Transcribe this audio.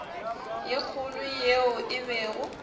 ye kgolo yeo e bego